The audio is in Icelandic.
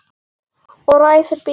Og ræsir bílinn.